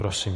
Prosím.